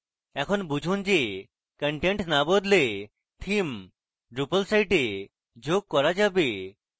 এখন বুঝুন যে content না বদলে theme drupal site a প্রয়োগ করা যাবে